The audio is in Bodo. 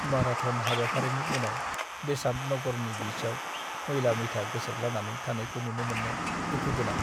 माराथ'न हाबाफारिनि उनाव बेसान्त नगरनि बिचआव मैला-मैथा गोसारद्लानानै थानायखौ नुनो मोननाया दुखु गोनां।